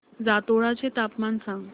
जातोडा चे तापमान सांग